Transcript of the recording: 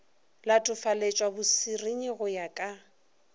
latofaletšwa bosernyi go ya ka